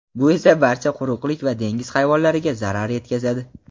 bu esa barcha quruqlik va dengiz hayvonlariga zarar yetkazadi.